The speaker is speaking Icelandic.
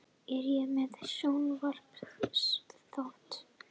Er ég með sjónvarpsþátt?